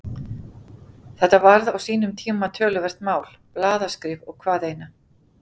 Þetta varð á sínum tíma töluvert mál, blaðaskrif og hvað eina.